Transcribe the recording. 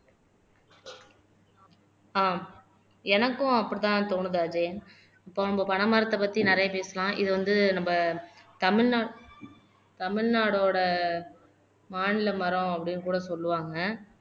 ஆஹ் எனக்கும் அப்படித்தான் தோணுது அஜயன் இப்ப நம்ம பனைமரத்தை பத்தி நிறைய பேசலாம் இது வந்து நம்ம தமிழ்நாட் தமிழ்நாட்டோட மாநில மரம் அப்படின்னு கூட சொல்லுவாங்க